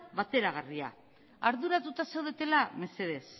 bateragarria arduratuta zaudetela mesedez